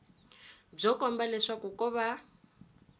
byo komba leswaku ko va